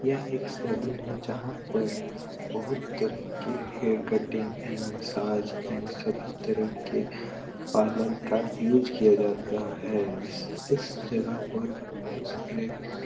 यह एक सैलून है जहाँ पर बहुत तरह के hair cutting and massage and सभी तरह के पार्लर का यूज़ किया जाता है | इस जगह पर बहुत सारे --